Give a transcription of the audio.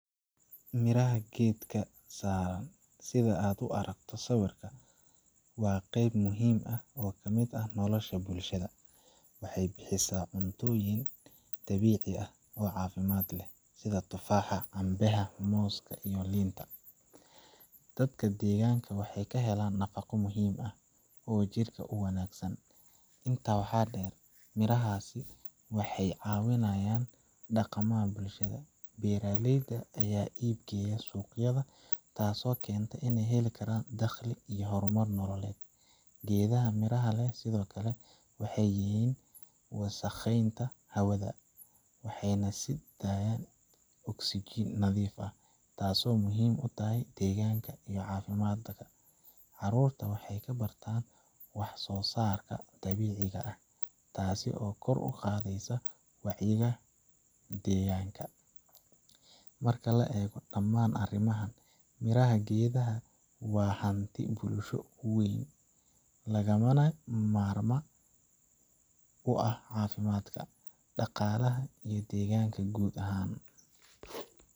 Miraha geedka, sida aad ku aragto sawirka, waa qayb muhiim ah oo ka mid ah nolosha bulshada. Waxay bixisaa cuntoyin dabiici ah oo caafimaad leh, sida tufaaxa, cambe ha, mooska, iyo liinta. Dadka deegaanka waxay ka helaan nafaqo muhiim ah oo jidhka u wanaagsan. Intaa waxaa dheer, mirahaasi waxay caawiyaan dhaqaalaha bulshada; beeraleyda ayaa iib geeya suuqyada, taasoo keenta in ay helaan dakhli iyo horumar nololeed. Geedaha miraha leh sidoo kale waxay yareeyaan wasakheynta hawada, waxayna sii daayaan oxygen nadiif ah, taasoo muhiim u ah deegaanka iyo caafimaadka dadka. Carruurta waxay ka bartaan wax soo saarka dabiiciga ah, taas oo kor u qaadaysa wacyiga deegaanka. Marka la eego dhammaan arrimahan, miraha geedaha waa hanti bulsho oo weyn, lagamana maarmaan u ah caafimaadka, dhaqaalaha, iyo deegaanka guud ahaan.